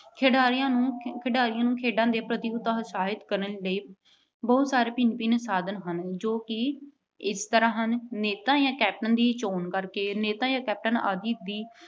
ਖਿਡਾਰੀਆਂ ਨੂੰ ਅਹ ਖਿਡਾਰੀਆਂ ਨੂੰ ਖੇਡਾਂ ਪ੍ਰਤੀ ਉਤਸ਼ਾਹਿਤ ਕਰਨ ਲਈ ਬਹੁਤ ਸਾਰੇ ਭਿੰਨ ਭਿੰਨ ਸਾਧਨ ਹਨ ਜੋ ਕਿ ਇਸ ਤਰ੍ਹਾਂ ਹਨ- ਨੇਤਾ ਜਾਂ captain ਦੀ ਚੋਣ ਕਰਕੇ ਨੇਤਾ ਜਾਂ captain ਆਦਿ ਦੀ